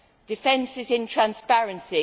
Defence is in transparency.